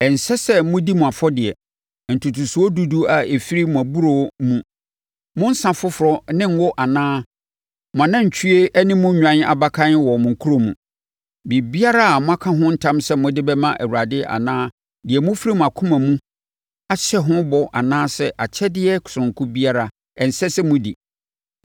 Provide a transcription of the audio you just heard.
Ɛnsɛ sɛ modi mo afɔdeɛ, ntotosoɔ dudu a ɛfiri mo aburoo mu, mo nsã foforɔ ne ngo anaa mo anantwie ne mo nnwan abakan wɔ mo kuro mu. Biribiara a moaka ho ntam sɛ mode bɛma Awurade anaa deɛ mofiri akoma pa mu ahyɛ ho bɔ anaa akyɛdeɛ sononko biara, ɛnsɛ sɛ modi.